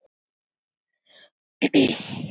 Það er ekki neitt, mamma.